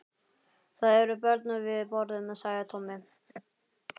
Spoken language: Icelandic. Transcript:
Það eru börn við borðið, sagði Tommi.